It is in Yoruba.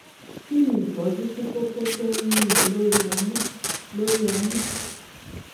kí ni ìtọ́jú fún kókó tó ń yúnni lórí ọmú? lórí ọmú?